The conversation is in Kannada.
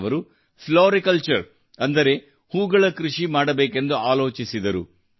ಅವರು ಫ್ಲೋರಿಕಲ್ಚರ್ ಅಂದರೆ ಹೂಗಳ ಕೃಷಿ ಮಾಡಬೇಕೆಂದು ಆಲೋಚಿಸಿದರು